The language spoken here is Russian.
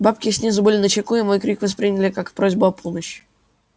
бабки снизу были начеку и мой крик восприняли как просьбу о помощи